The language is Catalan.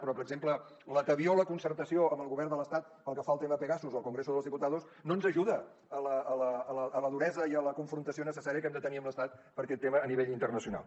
però per exemple la tebior o la concertació amb el govern de l’estat pel que fa al tema pegasus al congreso de los diputados no ens ajuda a la duresa i a la confrontació necessària que hem de tenir amb l’estat per aquest tema a nivell internacional